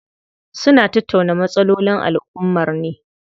Suna tattauna matsalolin alummar ne.